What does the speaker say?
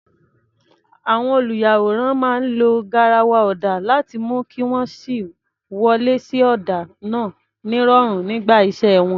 Àwọn olùyàwòrán máa ń lo garawa ọ̀dà láti mú kí wọ́n sì wọlé sí ọ̀dà náà nírọ̀rùn nígbà iṣẹ́ wọn.